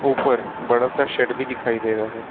ऊपर बड़ा सा शेड भी दिखाई दे रहा है।